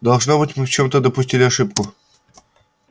должно быть мы в чём-то допустили ошибку